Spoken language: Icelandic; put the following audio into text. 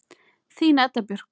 Þín Edda Björk.